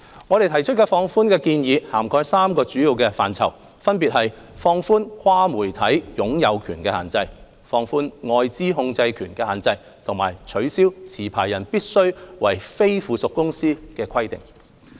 我們提出的放寬建議，涵蓋3個主要範疇，分別是放寬"跨媒體擁有權的限制"、放寬"外資控制權的限制"及取消"持牌人必須為非附屬公司的規定"。